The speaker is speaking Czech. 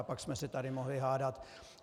A pak jsme se tady mohli hádat.